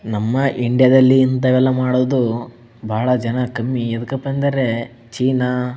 ನಮ್ಮ ಇಂಡಿಯಾ ದಲ್ಲಿ ಇಂತವ ಎಲ್ಲ ಮಾಡೋದು ಬಹಳ ಜನ ಕಮ್ಮಿ ಯಾಕಂದರೆ ಚೀನಾ --